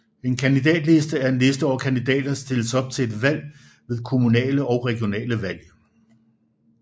En kandidatliste er en liste over kandidater der stiller op til valg ved kommunale og regionale valg